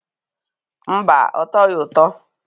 Mba, ọ tọghị ụtọ.